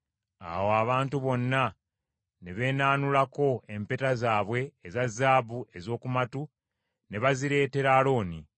Awo abantu bonna ne beenaanulako empeta zaabwe eza zaabu ez’oku matu, ne bazireetera Alooni.